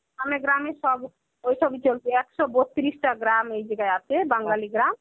আমাদের গ্রামের সব ওই ঐসবই চলছে. একশ বত্রিশটা গ্রাম এই জায়গায় আছে, বাঙালি গ্রাম.